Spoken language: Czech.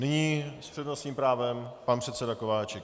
Nyní s přednostním právem pan předseda Kováčik.